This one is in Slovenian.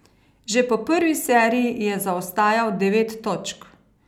Že po prvi seriji je zaostajal devet točk.